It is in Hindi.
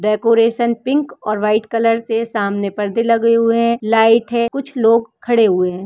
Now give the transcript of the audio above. डेकोरेशन पिंक और वाइट कलर से सामने परदे लगे हुए हैं लाइट है कुछ लोग खड़े हुए हैं।